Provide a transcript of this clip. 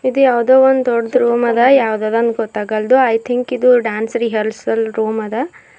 ಇದು ಯಾವುದೋ ಒಂದು ದೊಡ್ದು ರೂಮ್ ಅದ ಯಾವುದದೊಂದು ಗೊತ್ತಾಗಲ್ದು ಐ ಥಿಂಕ್ ಇದು ಡ್ಯಾನ್ಸ್ ರಿಹರ್ಸಲ್ ರೂಮ್ ಅದ.